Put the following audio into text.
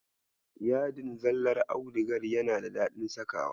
Yadin zallar audigar yana da daɗin sakawa.